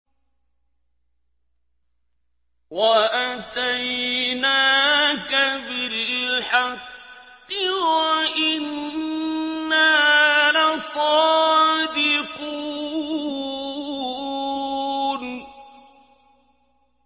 وَأَتَيْنَاكَ بِالْحَقِّ وَإِنَّا لَصَادِقُونَ